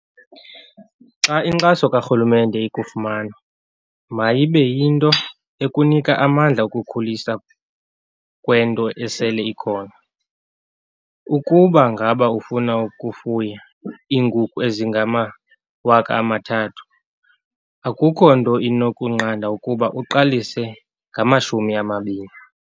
"Xa inkxaso karhulumente ikufumana, mayibe yinto ekunika amandla okukhuliswa kwento esele ikhona. Ukuba ngaba ufuna ukufuya iinkukhu ezingama-3 000, akukho nto inokunqanda ukuba uqalise ngama-20."